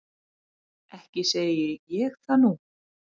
Ekki segi ég það nú.